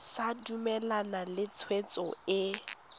sa dumalane le tshwetso e